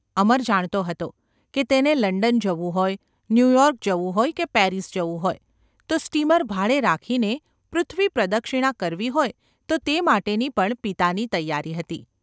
અમર જાણતો હતો કે તેને લંડન જવું હોય, ન્યુયૉર્ક જવું હોય કે પેરિસ જવું હોય તો સ્ટીમર ભાડે રાખીને પૃથ્વીપ્રદક્ષિણા કરવી હોય તો તે માટેની પણ પિતાની તૈયારી હતી.